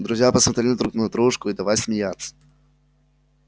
друзья посмотрели друг на дружку и давай смеяться